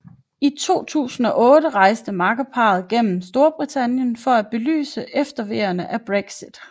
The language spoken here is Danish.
I 2018 rejste makkerparret igennem Storbritannien for at belyse efterveerne af Brexit